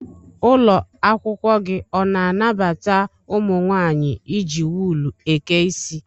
Ụlọakwụkwọ gị ọ na-anabata ụmụ nwaanyị iji wul eke isi?